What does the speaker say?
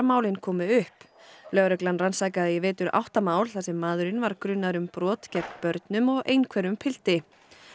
málin komu upp lögregla rannsakaði í vetur átta mál þar sem maðurinn var grunaður um brot gegn börnum og einhverfum pilti